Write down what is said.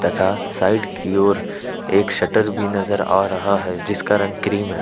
था साइड की ओर एक शटर भी नजर आ रहा है जिसका रंग क्रीम है।